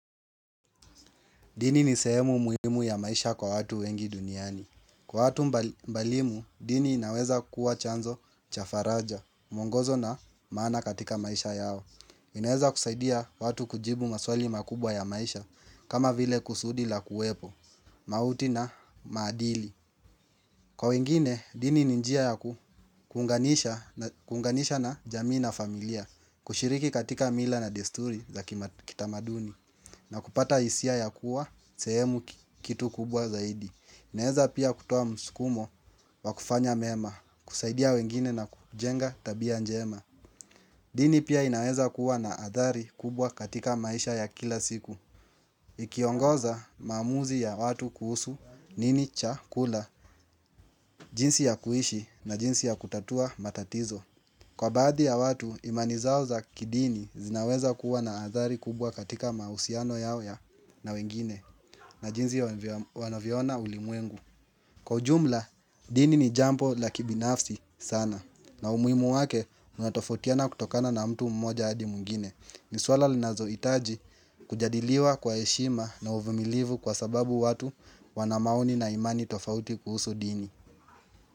Dini ni sehemu muhimu ya maisha kwa watu wengi duniani. Kwa watu mbalimu, dini inaweza kuwa chanzo cha faraja, mwongozo na maana katika maisha yao. Inaweza kusaidia watu kujibu maswali makubwa ya maisha, kama vile kusudi la kuwepo, mauti na maadili. Kwa wengine, dini ni njia ya kuunganisha na jamii na familia, kushiriki katika mila na desturi za kitamaduni, na kupata hisia ya kuwa, sehemu kitu kubwa zaidi. Inaeza pia kutoa msukumo wa kufanya mema, kusaidia wengine na kujenga tabia njema. Dini pia inaweza kuwa na adhari kubwa katika maisha ya kila siku. Ikiongoza mamuzi ya watu kuhusu nini cha kula jinsi ya kuishi na jinsi ya kutatua matatizo Kwa badhi ya watu imani zao za kidini zinaweza kuwa na adhari kubwa katika mahusiano yao ya na wengine na jinsi wanavyo ona ulimwengu Kwa jumla, dini ni jambo la kibinafsi sana na umuimu wake unatofautiana kutokana na mtu mmoja hadi mwingine ni swala linazo itaji kujadiliwa kwa heshima na uvumilivu kwa sababu watu wana maoni na imani tofauti kuhusu dini.